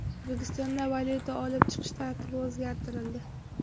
O‘zbekistondan valyuta olib chiqish tartibi o‘zgartirildi.